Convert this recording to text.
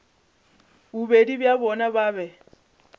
bobedi bja bona ba be